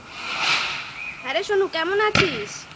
হ্যাঁ রে সোনু কেমন আছিস?